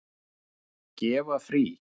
Gefa frí.